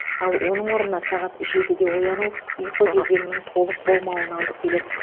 ал оның орнына сағат жетіде ояну ұйқы кезеңінің толық болмауына алып келеді